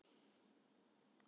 Barist um munaðinn